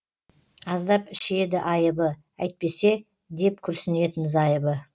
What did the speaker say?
аздап ішеді айыбы әйтпесе деп күрсінетін зайыбы